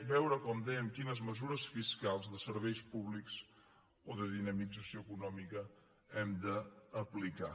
veure com dèiem quines mesures fiscals de serveis públics o de dinamització econòmica hem d’aplicar